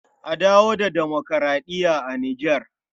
A dawo da demokuraɗiya a Nijar.